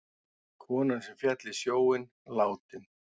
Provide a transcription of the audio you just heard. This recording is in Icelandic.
Konan sem féll í sjóinn látin